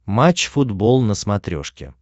матч футбол на смотрешке